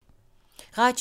Radio 4